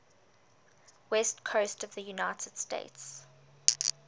west coast of the united states